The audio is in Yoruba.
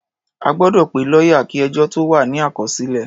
A gbọ́dọ̀ pe lọ́yà kí ẹjọ́ tó wà ní àkọsílẹ̀.